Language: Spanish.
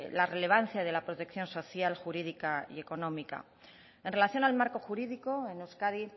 la relevancia de la protección social jurídica y económica en relación al marco jurídico en euskadi